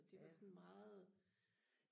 og det var sådan meget